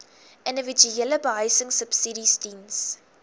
individuele behuisingsubsidies diens